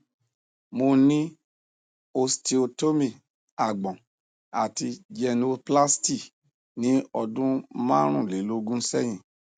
mo ni osteotomy agbọ̀n ati genioplasty ni ọdun marunlelogun sẹhin